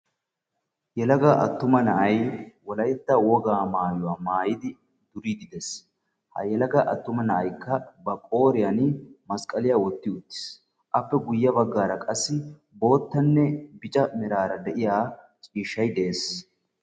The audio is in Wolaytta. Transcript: Yelaga attuma na'ay wolytta wogaa maayuwa maayidi biiddi des. Ha yelaga attuma na'aykka ba qooriyan masqaliya wotti uttis. Appe guyye baggaara qassi boottanne bica meraara de'iya ciishshay de'es.